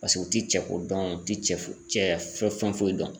Paseke u tɛ cɛ ko dɔn u tɛ cɛ foyi fɛn foyi dɔn.